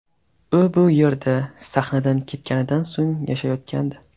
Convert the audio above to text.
U bu yerda sahnadan ketganidan so‘ng yashayotgandi.